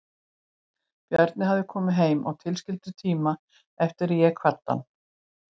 Bjarni hafði komið heim á tilskildum tíma eftir að ég kvaddi hann.